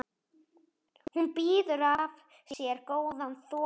Hún býður af sér góðan þokka.